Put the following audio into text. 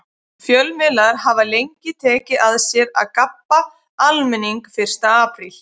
Fjölmiðlar hafa lengi tekið að sér að gabba almenning fyrsta apríl.